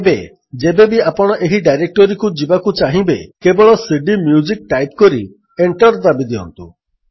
ଏବେ ଯେବେବି ଆପଣ ଏହି ଡାଇରେକ୍ଟୋରୀକୁ ଯିବାକୁ ଚାହିଁବେ କେବଳ cdମ୍ୟୁଜିକ୍ ଟାଇପ୍ କରି ଏଣ୍ଟର୍ ଦାବିଦିଅନ୍ତୁ